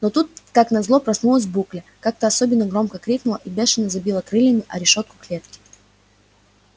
но тут как назло проснулась букля как-то особенно громко крикнула и бешено забила крыльями о решётку клетки